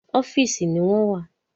Ọ́fìsì ni wọ́n wà.